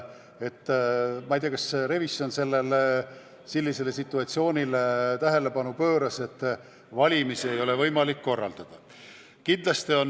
Ma ei tea, kas revisjon pööras tähelepanu võimalikule situatsioonile, kus valimisi ei ole võimalik korraldada.